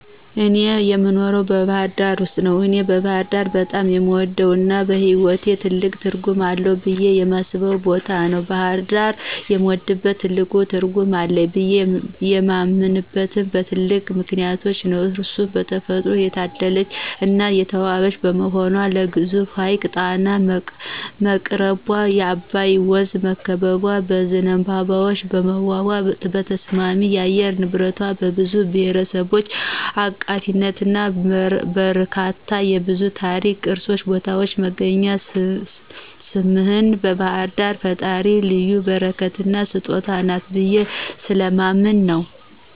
እኔ የኖረው ባህርዳር ውስጥ ነው። እኔ ባህርዳር በጣም የምወደው እና በህይዎቴ ትልቅ ትርጉም አለው ብየ የማስበው ቦታ ነው። ባሕርዳርን የምወድበትና ትልቅ ትርጉም አለው ብየ የማምነበት በትላልቅ ምክንያቶች ነው እነርሱም በተፈጥሮ የታደለች እና የተዋበች በመሆኗ ለግዙፉ ሀይቅ ጣና በመቅረቧ፣ በአባይ ወንዝ በመከበቧ፣ በዝንባባዎቿ በመዋቧ፣ በተስማሚ የአየር ንብረቷ፣ በብዙ ብሔርብሔረሰብ አቃፊነቷና በረከቷ፣ የብዙ ታሪካዊ ቅርሶችን ቦታዎች መገኛ ስምህን ባህርዳር የፈጣሪ ልዩ በረከትና ስጦታ ናት ብየ ስለማምን ነው።